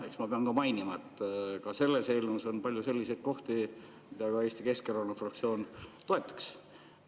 Eks ma pean mainima, et ka selles eelnõus on palju selliseid kohti, mida ka Eesti Keskerakonna fraktsioon toetaks.